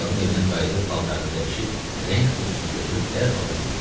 Arvadın evinə qayıdıb paltarını dəyişib, rəng qutusunu götürüb dərhal da gedib.